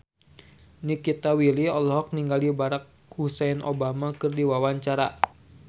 Nikita Willy olohok ningali Barack Hussein Obama keur diwawancara